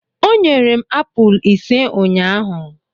O nyere m apụl ise ụnyahụ.